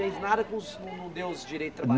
E não fez nada com os, não não deu os direitos